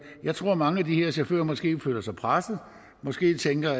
jeg tror at mange af de her chauffører måske føler sig presset og måske tænker